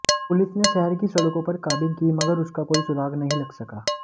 police ने शहर की सड़कों पर काबिंग की मगर उसका कोई सुराग नहीं लग सका